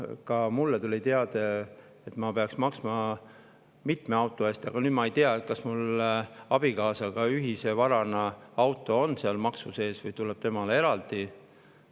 Ka mulle tuli teade, et ma peaksin maksma mitme auto eest, aga nüüd ma ei tea, kas auto, mis on mul abikaasaga ühine vara, on seal maksu sees või tuleb temale eraldi.